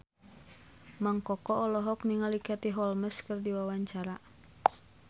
Mang Koko olohok ningali Katie Holmes keur diwawancara